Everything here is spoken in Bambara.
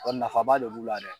Ɔ nafaba de b'u la dɛ.